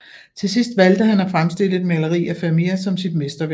Til sidst valgte han at fremstille et maleri af Vermeer som sit mesterværk